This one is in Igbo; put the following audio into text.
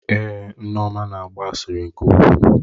Èé, Nneoma na-agba asịrị nke ukwuu.